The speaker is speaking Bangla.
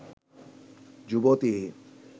যুবতী